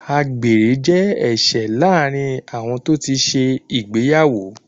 Àgbèrè jẹ́ ẹ̀ṣẹ̀ láàrin àwọn tó ti ṣe ìgbéyàwó.